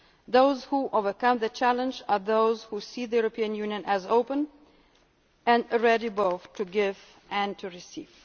challenging. Those who overcome the challenges are those who see the European Union as open and are ready both to give